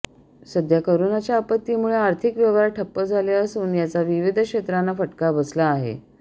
सध्या कोरोनाच्या आपत्तीमुळे आर्थिक व्यवहार ठप्प झाले असून याचा विविध क्षेत्रांना फटका बसला आहे